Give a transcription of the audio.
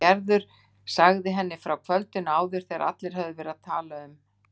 Gerður sagði henni frá kvöldinu áður þegar allir höfðu verið að tala um